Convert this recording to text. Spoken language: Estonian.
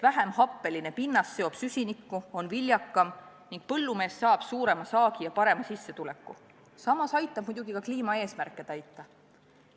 Vähem happeline pinnas seob süsinikku, on viljakam ning põllumees saab suurema saagi ja parema sissetuleku, samas aitab see muidugi ka kliimaeesmärke täita.